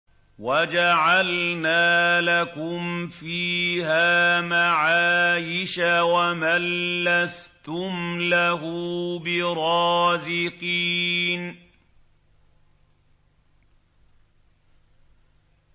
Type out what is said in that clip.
وَجَعَلْنَا لَكُمْ فِيهَا مَعَايِشَ وَمَن لَّسْتُمْ لَهُ بِرَازِقِينَ